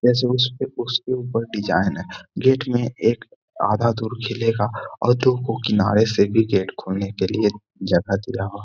ऐसे उसके उसके ऊपर डिज़ाइन है। गेट में एक आधा दूर खिलेगा और दो गो किनारों से भी गेट खोलने के लिए जगह दिया ह ।